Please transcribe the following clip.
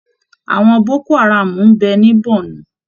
Àwọn Boko haram ń bẹ ní Bornu